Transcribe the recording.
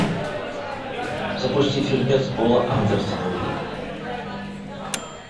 запусти фильмец пола андерсона